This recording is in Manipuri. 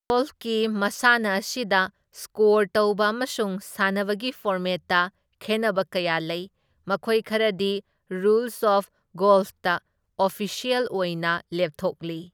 ꯒꯣꯜꯐꯀꯤ ꯃꯁꯥꯟꯅ ꯑꯁꯤꯗ ꯁ꯭ꯀꯣꯔ ꯇꯧꯕ ꯑꯃꯁꯨꯡ ꯁꯥꯟꯅꯕꯒꯤ ꯐꯣꯔꯃꯦꯠꯇ ꯈꯦꯟꯅꯕ ꯀꯌꯥ ꯂꯩ, ꯃꯈꯣꯏ ꯈꯔꯗꯤ ꯔꯨꯜꯁ ꯑꯣꯐ ꯒꯣꯜꯐꯇ ꯑꯣꯐꯤꯁ꯭ꯌꯦꯜ ꯑꯣꯏꯅ ꯂꯦꯞꯊꯣꯛꯂꯤ꯫